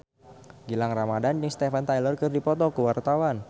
Gilang Ramadan jeung Steven Tyler keur dipoto ku wartawan